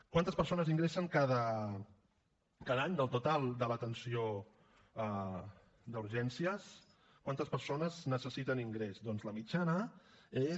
quantes persones ingressen cada any del total de l’atenció d’urgències quantes persones necessiten ingrés doncs la mitjana és